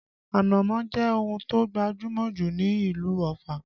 Ànámọ́ jẹ́ ohun tó gbajúmọ̀ jù ní ìlú Ọ̀fà